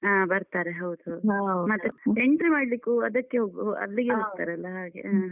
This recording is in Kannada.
ಹ ಬರ್ತಾರೆ ಹೌದು entry ಮಾಡ್ಲಿಕ್ಕೂ ಅದಕ್ಕೆ ಹೋಗು ಅಲ್ಲಿಗೇ ಹ್ಮ.